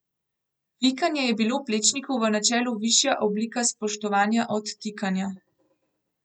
Vikanje je bilo Plečniku v načelu višja oblika spoštovanja od tikanja.